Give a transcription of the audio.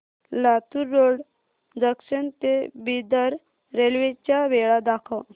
Latur road junction ते Bidar railway च्या वेळा दाखव